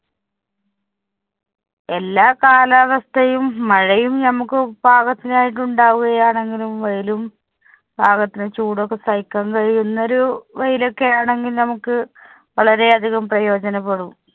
എല്ലാ കാലാവസ്ഥയും, മഴയും നമുക്ക് പാകത്തിനായിട്ടുണ്ടാവുകയാണെങ്കിലും, വെയിലും പാകത്തിന് ചൂടും ഒക്കെ സഹിക്കാന്‍ കഴിയുന്ന ഒരു വെയിലൊക്കെയാണെങ്കി നമുക്ക് വളരെ അധികം പ്രയോജനപ്പെടും.